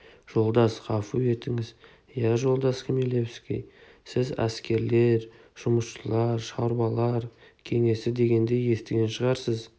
жолдас ғафу етіңіз иә жолдас хмелевский сіз әскерлер жұмысшылар шаруалар кеңесі дегенді естіген шығарсыз